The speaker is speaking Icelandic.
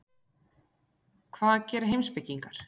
Hvað gera heimspekingar?